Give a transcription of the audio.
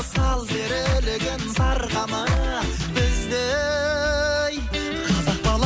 сал серілігін сарқама біздей қазақ